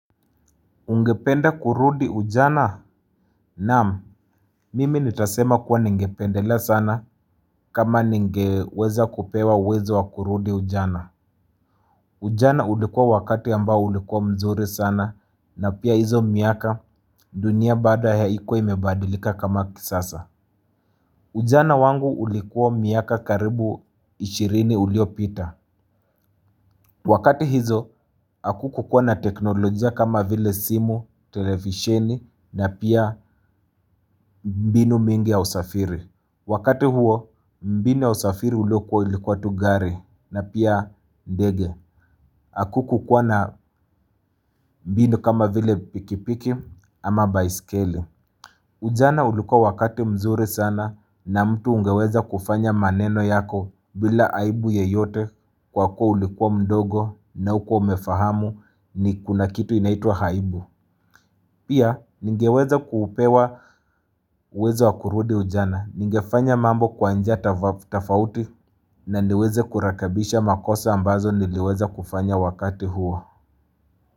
Ungependa kurudi ujana? Naam, mimi nitasema kuwa ningependelea sana kama ningeweza kupewa uwezo wa kurudi ujana. Ujana ulikuwa wakati ambao ulikuwa mzuri sana na pia hizo miaka dunia bado haikuwa imebadilika kama kisasa. Ujana wangu ulikuwa miaka karibu ishirini uliopita. Wakati hizo, akukukuwa na teknolojia kama vile simu, televisheni na pia mbinu mingi ya usafiri. Wakati huo, mbinu ya usafiri ulio kuwa ilikuwa tu gari na pia dege. Akuku kuwa na mbinu kama vile pikipiki ama baiskeli. Ujana ulikua wakati mzuri sana mtu ungeweza kufanya maneno yako bila aibu yoyote kwa kuwa ulikua mdogo na hukua umefahamu kuna kitu inaitwa aibu. Pia, ningeweza kuupewa uwezo wakurudi ujana. Ningefanya mambo kwanjia tafauti na niweze kurekebisha makosa ambazo niliweza kufanya wakati huo.